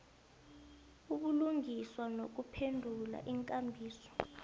ubulungiswa nokuphendula iinkambiso